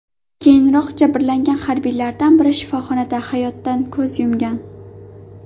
Keyinroq jabrlangan harbiylardan biri shifoxonada hayotdan ko‘z yumgan.